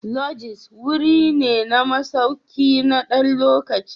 Lodges wuri ne na masauki na ɗan lokaci.